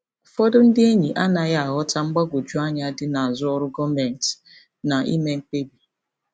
Ụfọdụ ndị enyi anaghị aghọta mgbagwoju anya dị n'azụ ọrụ gọọmentị na ime mkpebi.